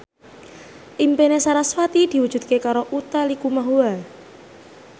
impine sarasvati diwujudke karo Utha Likumahua